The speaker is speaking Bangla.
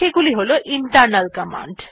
সেগুলি হল ইন্টারনাল কমান্ড